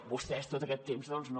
vostès tot aquest temps doncs no